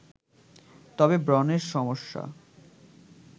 তবে ব্রণের সমস্যা